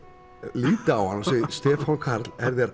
lít á hann og segi Stefán Karl er þér